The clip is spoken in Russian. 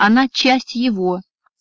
она часть его